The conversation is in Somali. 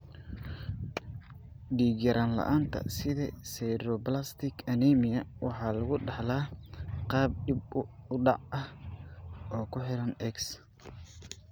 Dhiig-yaraan la'aanta 'sideroblastic anemia' waxaa lagu dhaxlaa qaab dib u dhac ah oo ku xiran X.